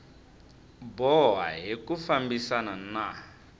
boha hi ku fambisana na